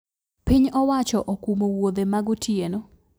Piny owacho okumo wuodhe ma gotieno